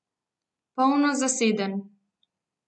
Polno zaseden.